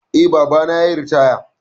Eh, babana yayi ritaya